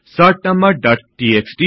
sort numbers dot TXT